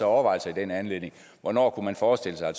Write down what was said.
overvejelser i den anledning hvornår kunne man forestille sig at